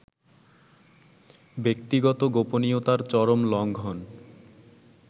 ব্যক্তিগত গোপনীয়তার চরম লংঘন